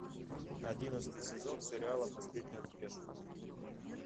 одиннадцатый сезон сериала последний рубеж